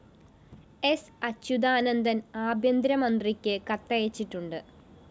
സ്‌ അച്യുതാനന്ദന്‍ ആഭ്യന്തരമന്ത്രിക്ക് കത്തയച്ചിട്ടുണ്ട്